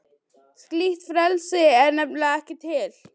Slíkt frelsi er nefnilega ekki til.